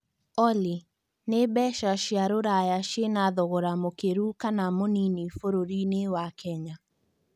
olly nĩ mbeca cia rũraya cina thogora mũkĩru kana mũnini bũrũrĩinĩ wa Kenya